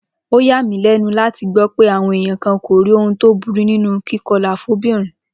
Ó yà mí lé̩nu láti gbó̩ pé àwo̩n èèyàn kan kò rí ohun tó burú nínú kíko̩là fún o̩mo̩bìnrin